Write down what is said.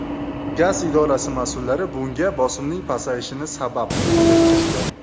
Gaz idorasi mas’ullari bunga bosimning pasayishini sabab qilib keltirgan.